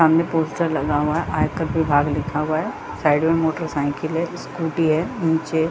सामने पोस्टर लगा हुआ है आयकर विभाग लिखा हुआ है साइड में मोटरसाइकिल का स्कूटी हैं।